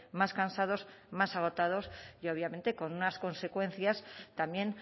más cansados más agotados y obviamente con unas consecuencias también